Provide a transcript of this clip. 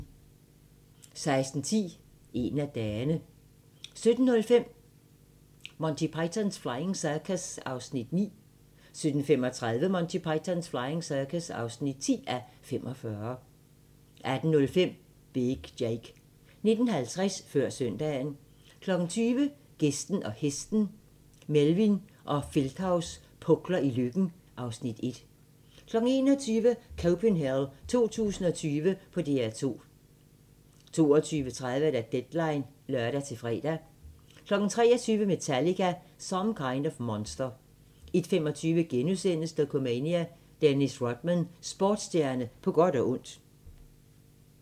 16:10: En af dagene 17:05: Monty Python's Flying Circus (9:45) 17:35: Monty Python's Flying Circus (10:45) 18:05: Big Jake 19:50: Før søndagen 20:00: Gæsten og hesten - Melvin og Feldthaus pukler i Løkken (Afs. 1) 21:00: Copenhell 2020 på DR2 22:30: Deadline (lør-fre) 23:00: Metallica – Some Kind of Monster 01:25: Dokumania: Dennis Rodman – Sportsstjerne på godt og ondt *